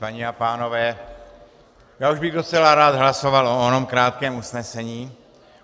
Paní a pánové, já už bych docela rád hlasoval o onom krátkém usnesení.